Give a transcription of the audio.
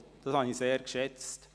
Dies habe ich sehr geschätzt.